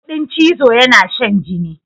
Kuɗin chizo yana shan jini.